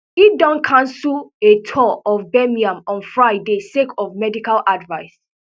e don cancel a tour of birmingham on friday sake of a medical advice